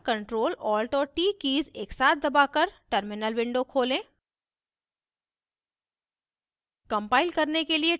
अपने keyboard पर ctrl alt और t कीज़ एकसाथ दबाकर terminal window खोलें